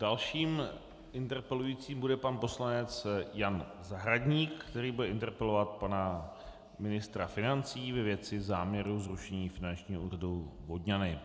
Dalším interpelujícím bude pan poslanec Jan Zahradník, který bude interpelovat pana ministra financí ve věci záměru zrušení Finančního úřadu Vodňany.